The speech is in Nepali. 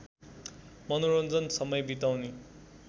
मनोरञ्जन समय बिताउने